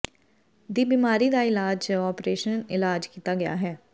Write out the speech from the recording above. ਦੀ ਬਿਮਾਰੀ ਦਾ ਇਲਾਜ ਜ ਓਪਰੇਸ਼ਨ ਇਲਾਜ ਕੀਤਾ ਗਿਆ ਹੈ